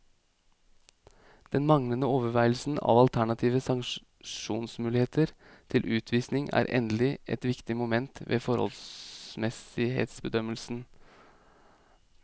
Den manglende overveielse av alternative sanksjonsmuligheter til utvisning er endelig et viktig moment ved forholdsmessighetsbedømmelsen.